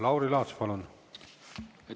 Lauri Laats, palun!